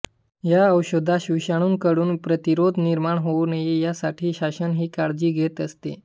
या औषधास विषाणूंकडून प्रतिरोध निर्माण होऊ नये यासाठी शासन ही काळजी घेत असते